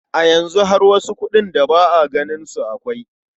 A yanzu har wasu kuɗin da ba a ganin su akwai.